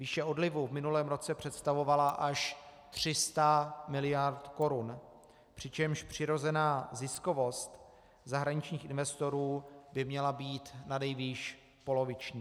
Výše odlivu v minulém roce představovala až 300 miliard korun, přičemž přirozená ziskovost zahraničních investorů by měla být nanejvýš poloviční.